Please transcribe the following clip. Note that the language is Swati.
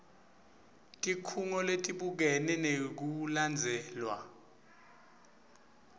tikhungo letibukene nekulandzelwa